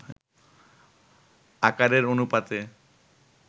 আকারের অনুপাতে